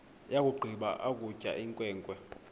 yakugqiba ukutya inkwenkwe